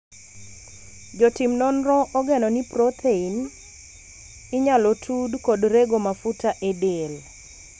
jotim nonro ogeno ni prothein inyalo tud kod rego mafuta e del